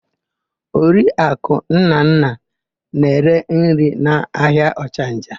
Oriaku Nnanna na-ere nri n'ahịa Ọchanja.